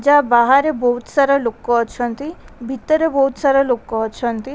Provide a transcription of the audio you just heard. ଯା ବାହାରେ ବୋହୁତ୍ ସାରା ଲୋକ ଅଛନ୍ତି ଭିତରେ ବୋହୁତ୍ ସାରା ଲୋକ ଅଛନ୍ତି।